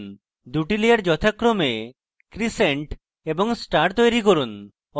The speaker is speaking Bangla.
2 টি লেয়ার যথাক্রমে crescent এবং star তৈরী করুন